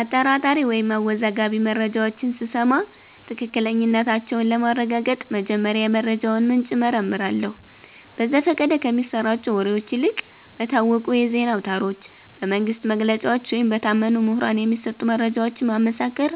አጠራጣሪ ወይም አወዛጋቢ መረጃዎችን ስሰማ ትክክለኛነታቸውን ለማረጋገጥ መጀመሪያ የመረጃውን ምንጭ እመረምራለሁ። በዘፈቀደ ከሚሰራጩ ወሬዎች ይልቅ በታወቁ የዜና አውታሮች፣ በመንግሥት መግለጫዎች ወይም በታመኑ ምሁራን የሚሰጡ መረጃዎችን ማመሳከር